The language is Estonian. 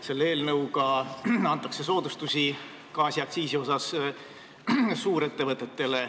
Selle eelnõuga antakse gaasiaktsiisi soodustusi suurettevõtetele.